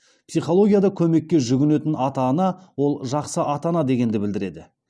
психологияда көмекке жүгінетін ата ана ол жақсы ата ана дегенді білдіреді